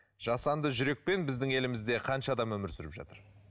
жасанды жүрекпен біздің елімізде қанша адам өмір сүріп жатыр